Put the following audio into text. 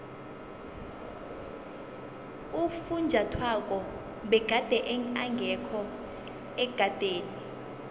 ufunjathwako begade engekho ekadeni